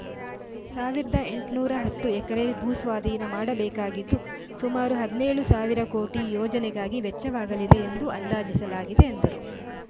ಸಾವಿರದ ಎಂಟನೂರ ಹತ್ತು ಎಕರೆ ಭೂಸ್ವಾಧೀನ ಮಾಡಬೇಕಾಗಿದ್ದು ಸುಮಾರು ಹದಿನೇಳು ಸಾವಿರ ಕೋಟಿ ಯೋಜನೆಗಾಗಿ ವೆಚ್ಚವಾಗಲಿದೆ ಎಂದು ಅಂದಾಜಿಸಲಾಗಿದೆ ಎಂದರು